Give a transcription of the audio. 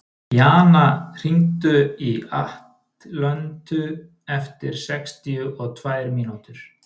Jana, hringdu í Atlöntu eftir sextíu og tvær mínútur.